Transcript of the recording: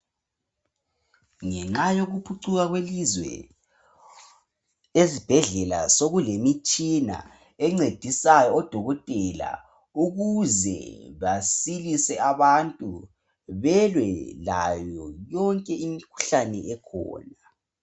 Ngenxa yokuphucuka kwelizwe, ezibhedlela sekulemitshina encedisayo odokotela ukuze basilise abantu lokulwa layo yonke imikhuhlane ekhona.